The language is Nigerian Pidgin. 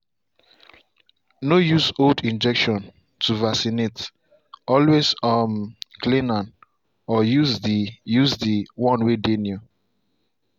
no use old injection to vaccinate- always um clean na or use the use the one way dey new.